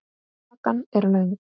Hakan löng.